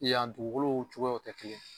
Yan dugukolow cogoya te kelen ye.